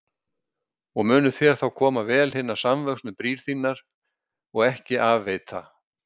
Og munu þér þá koma vel hinar samvöxnu brýr þínar og ekki af veita.